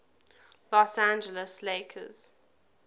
los angeles lakers